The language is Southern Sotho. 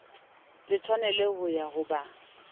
le tshwaneleho ya ho ba